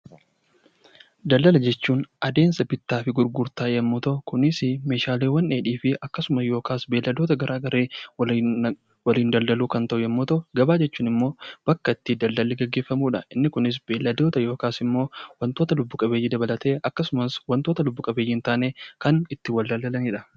Daldala jechuun adeemsa bittaa fi gurgurtaa yoo ta'u, kunis Meeshaalee dheedhii fi beeyiladoota garaagaraa waliin daldaluu yoo ta'u, gabaa jechuun immoo bakka itti daldalli gaggeeffamudha. Inni Kun immoo beeyiladoota yookaan waantota lubbuu qabeeyyii dabalatee akkasumas waantota lubbu qabeeyyii hin taane kan ittiin walitti daldalanidha.